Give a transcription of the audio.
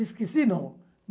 Esqueci, não.